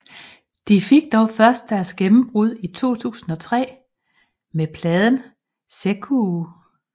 De fik dog først deres gennembrud i 2003 med pladen Zekkuu